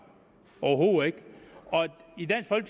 overhovedet ikke